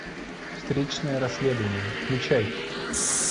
встречное расследование включай